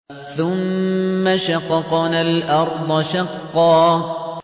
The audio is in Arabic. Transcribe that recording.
ثُمَّ شَقَقْنَا الْأَرْضَ شَقًّا